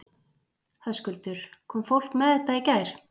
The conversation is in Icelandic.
Höskuldur: Kom fólk með þetta í gær?